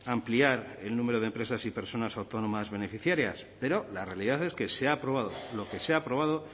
ampliar el número de empresas y personas autónomas beneficiarias pero la realidad es que se ha aprobado lo que se ha aprobado